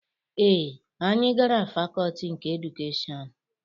Ee, anyị gara fakọọti nke edukeshọn.